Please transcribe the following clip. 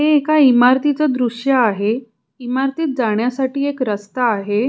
हे एका इमारतीच दृश आहे इमारतीत जाण्यासाठी एक रस्ता आहे.